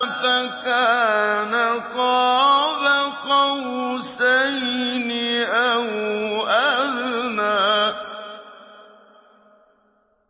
فَكَانَ قَابَ قَوْسَيْنِ أَوْ أَدْنَىٰ